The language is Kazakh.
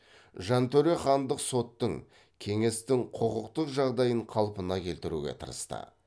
жантөре хандық соттың кеңестің құқықтық жағдайын қалпына келтіруге тырысты